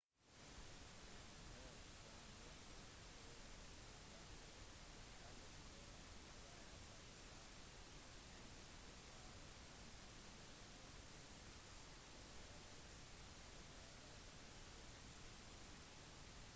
en hær som kjemper på hesteryggen kalles for et kavaleri siden salen enda ikke var oppfunnet måtte det assyriske kavaleriet kjempe barbak på hestene sine